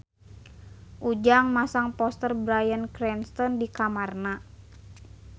Ujang masang poster Bryan Cranston di kamarna